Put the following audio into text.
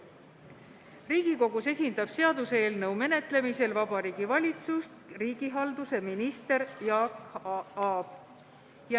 Riigikogus esindab seaduseelnõu menetlemisel Vabariigi Valitsust riigihalduse minister Jaak Aab.